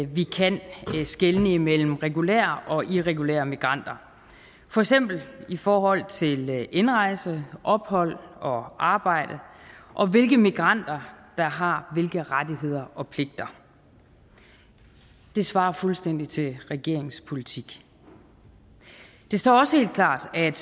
vi kan skelne imellem regulære og irregulære migranter for eksempel i forhold til indrejse ophold og arbejde og hvilke migranter der har hvilke rettigheder og pligter det svarer fuldstændig til regeringens politik det står også helt klart at